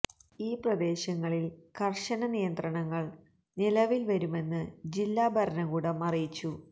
ഈ പ്രദേശങ്ങളില് കര്ശന നിയന്ത്രണങ്ങള് നിലവില് വരുമെന്ന് ജില്ലാ ഭരണകൂടം അറിയിച്ചു